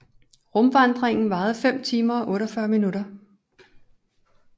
Rumvandringen varede 5 timer og 48 minutter